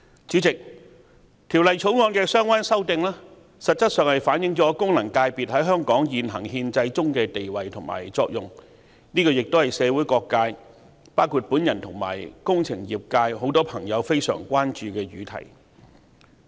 主席，《條例草案》的相關修訂實質上反映了功能界別在香港現行憲制中的地位和作用，亦是社會各界包括我和工程業界人士均非常關注的議題。